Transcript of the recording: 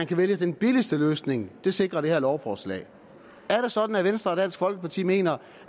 kan vælges den billigste løsning sikrer det her lovforslag er det sådan at venstre og dansk folkeparti mener